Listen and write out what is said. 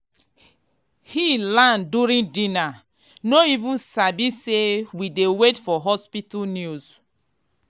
he land during dinner no even sabi say we dey wait for hospital news.